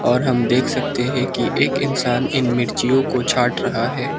और हम देख सकते है की एक इंसान इन मिर्चियों को छांट रहा है।